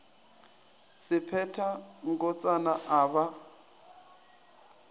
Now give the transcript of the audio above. se phetha nkotsana a ba